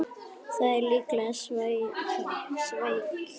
Það er líklega svækjan